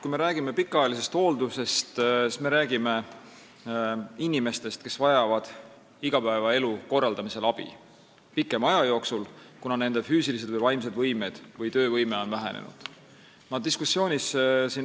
Kui me räägime pikaajalisest hooldusest, siis me räägime inimestest, kes vajavad igapäevaelu korraldamisel abi pikema aja jooksul, kuna nende füüsilised või vaimsed võimed või töövõime on vähenenud.